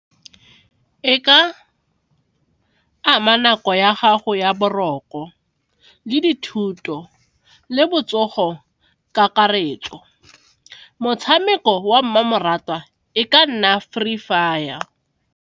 E ka ama nako ya gago ya boroko le dithuto le botsogo kakaretso, motshameko wa mmamoratwa e ka nna Free Fire.